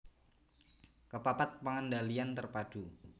Kepapat pengendalian terpadu